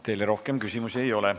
Teile rohkem küsimusi ei ole.